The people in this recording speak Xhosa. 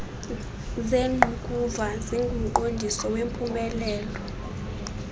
zengqukuva zingumqondiso wempumelelo